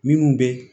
Minnu bɛ